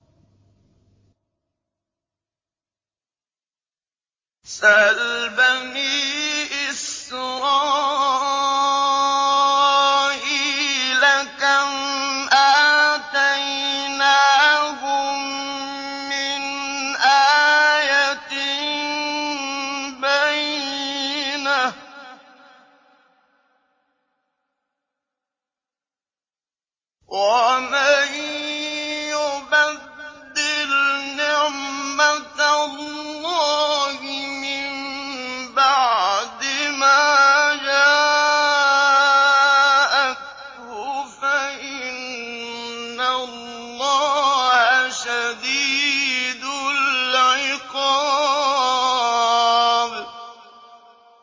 سَلْ بَنِي إِسْرَائِيلَ كَمْ آتَيْنَاهُم مِّنْ آيَةٍ بَيِّنَةٍ ۗ وَمَن يُبَدِّلْ نِعْمَةَ اللَّهِ مِن بَعْدِ مَا جَاءَتْهُ فَإِنَّ اللَّهَ شَدِيدُ الْعِقَابِ